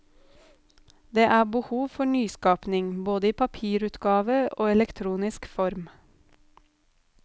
Det er behov for nyskapning, både i papirutgave og elektronisk form.